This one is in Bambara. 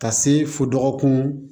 Ka se fo dɔgɔkun